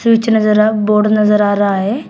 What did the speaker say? Switch नजर अ board नजर आ रहा है।